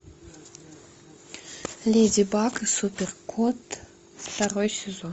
леди баг и супер кот второй сезон